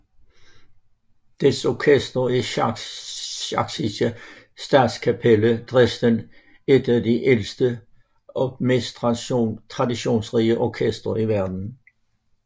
Dets orkester er Sächsische Staatskapelle Dresden et af de ældste og mest traditionsrige orkestre i verden